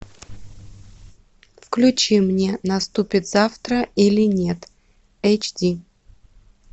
включи мне наступит завтра или нет эйч ди